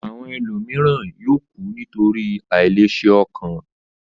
Àwọn ènìyàn mìíràn yóò kù nítorí àìlèṣe ọkàn.